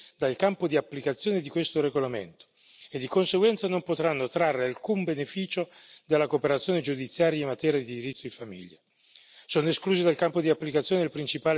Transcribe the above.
Queste persone sono infatti del tutto escluse dal campo di applicazione di questo regolamento e di conseguenza non potranno trarre alcun beneficio dalla cooperazione giudiziaria in materia di diritto di famiglia.